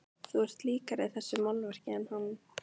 Þú ert líkari þessu málverki en hann.